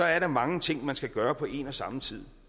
er der mange ting man skal gøre på en og samme tid